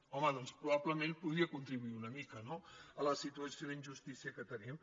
home doncs probablement podria contribuir una mica no a la situació d’injustícia que tenim